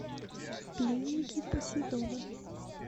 пленники посейдона